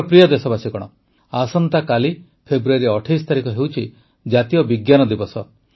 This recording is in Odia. ମୋର ପ୍ରିୟ ଦେଶବାସୀଗଣ ଆସନ୍ତାକାଲି ଫେବୃଆରୀ ୨୮ ତାରିଖ ହେଉଛି ଜାତୀୟ ବିଜ୍ଞାନ ଦିବସ